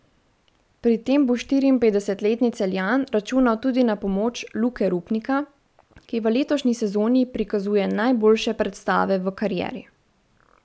Pri tem bo štiriinpetdesetletni Celjan računal tudi na pomoč Luke Rupnika, ki v letošnji sezoni prikazuje najboljše predstave v karieri.